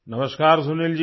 नमस्कार सुनील जी